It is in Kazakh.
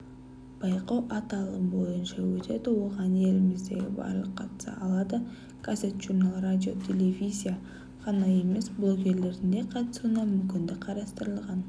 байқау аталым бойынша өтеді оған еліміздегі барлық қатыса алады газет журнал радио телевизия ғана емес блогерлердің де қатысуына мүмкіндік қарастырылған